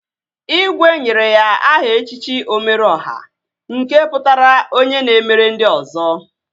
Igwe nyere ya aha echichi Omeru Ọha nke pụtara onye na-emere ndị ọzọ